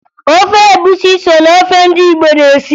Ofe egwusi so na ofe ndị Igbo na-esi